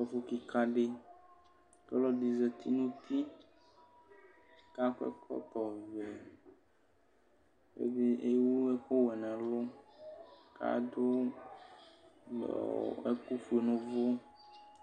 Ɛfʋ kikadi kʋ alʋ zati nʋ uti kʋ akɔ ɛkɔtɔvɛ ɛdi ewʋ ɛkʋwɛ nʋ alɔ adʋ ɛkʋfue nʋ ʋvʋ kʋ